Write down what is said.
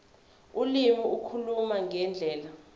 ulimi ukukhuluma ngendlela